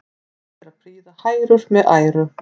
Gott er að prýða hrærur með æru.